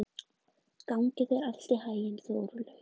Gangi þér allt í haginn, Þorlaug.